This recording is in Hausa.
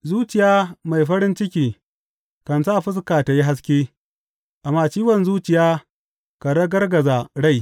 Zuciya mai farin ciki kan sa fuska tă yi haske, amma ciwon zuciya kan ragargaza rai.